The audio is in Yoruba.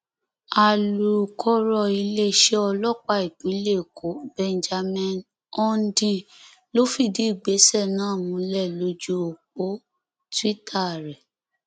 alūkọrọ iléeṣẹ ọlọpàá ìpínlẹ èkó benjamin hondyin ló fìdí ìgbésẹ náà múlẹ lójú ọpọ twitter rẹ